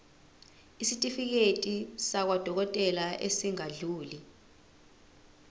isitifiketi sakwadokodela esingadluli